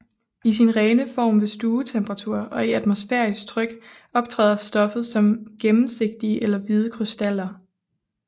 I sin rene form ved stuetemperatur og i atmosfærisk tryk optræder stoffet som gennemsigtige eller hvide krystaller